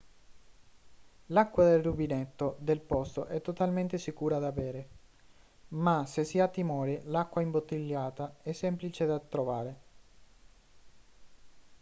l'acqua del rubinetto del posto è totalmente sicura da bere ma se si ha timore l'acqua imbottigliata è semplice da trovare